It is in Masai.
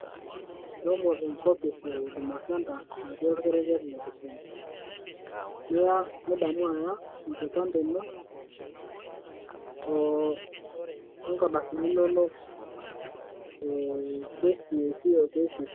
Shomo enkopis ehuduma senta natii orkerenket le Kisumu, nidamu Aya enkipante ino, oo nkardasini inono e KCSE O KCPE